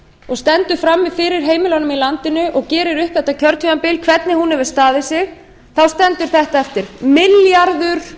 og stendur frammi fyrir heimilunum í landinu og gerir upp þetta kjörtímabil hvernig hún hefur staðið sig þá stendur þetta eftir milljarður